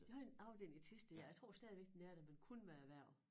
De har en afdeling i Thisted og jeg tror stadigvæk den er der men kun med erhverv